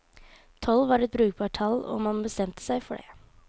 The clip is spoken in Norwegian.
Tolv var et brukbart tall, og man bestemte seg for det.